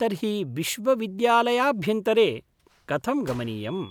तर्हि विश्वविद्यालयाभ्यन्तरे कथं गमनीयम्?